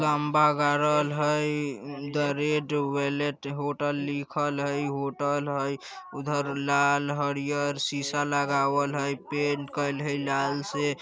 खम्बा गड़ल हई द रेड वेलवेट होटल लिखल हई होटल हई उधर लाल हरियर सीसा लागेवेल हई पेंट करेल हई लाल से।